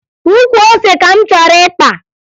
Ukwu ose ka m chọrọ ịkpa